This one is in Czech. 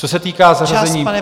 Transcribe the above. Co se týká zařazení...